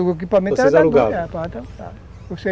O equipamento